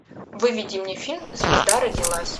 выведи мне фильм звезда родилась